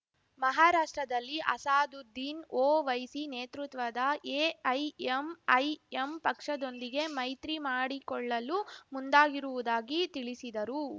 ಮಹಾರಾಷ್ಟ್ರದಲ್ಲಿ ಅಸಾದುದ್ದೀನ್ ಓವೈಸಿ ನೇತೃತ್ವದ ಎಐಎಂಐಎಂ ಪಕ್ಷದೊಂದಿಗೆ ಮೈತ್ರಿ ಮಾಡಿಕೊಳ್ಳಲು ಮುಂದಾಗಿರುವುದಾಗಿ ತಿಳಿಸಿದರು